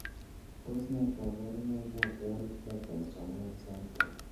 Tos nee koborunoikab Wolff Parkinson White syndrome.